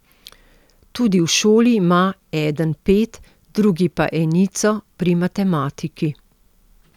Tudi v šoli ima eden pet, drugi pa enico pri matematiki.